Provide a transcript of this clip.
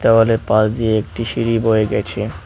দেওয়ালের পাশ দিয়ে একটি সিঁড়ি বয়ে গেছে।